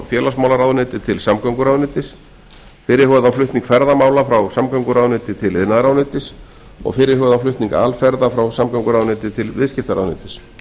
félagsmálaráðuneyti til samgönguráðuneytis fyrirhugaðan flutning ferðamála frá samgönguráðuneyti til iðnaðarráðuneytis og fyrirhugaðan flutning alferða frá samgönguráðuneyti til viðskiptaráðuneytis